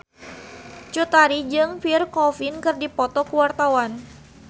Cut Tari jeung Pierre Coffin keur dipoto ku wartawan